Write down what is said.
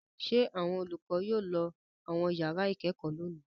Ṣé àwọn olùkọ́ yóò lọ àwọn ìyàrá-ìkẹ́kọ̀ọ́ lónìí?